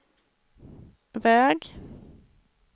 väg